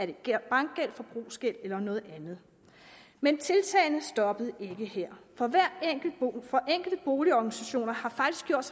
det er bankgæld forbrugsgæld eller noget andet men tiltagene stoppede ikke her for enkelte boligorganisationer har faktisk gjort